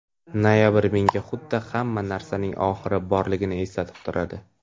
Noyabr menga xuddi hamma narsaning oxiri borligini eslatib turadi.